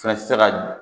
Fɛnɛ tɛ se ka